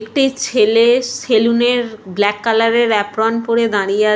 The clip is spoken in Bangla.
একটি ছেলে সেলুন -এর ব্ল্যাক কালারের এপ্রন পরে দাঁড়িয়ে আ --